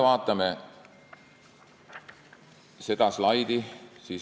Vaatame seda slaidi.